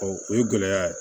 o ye gɛlɛya ye